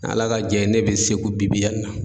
N'ala ka jɛ ye, ne bɛ segu bi bi in na.